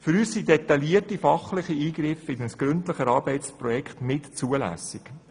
Für uns sind detaillierte fachliche Eingriffe in ein gründlich erarbeitetes Projekts unzulässig.